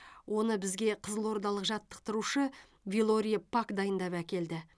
оны бізге қызылордалық жаттықтырушы вилорий пак дайындап әкелді